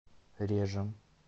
режем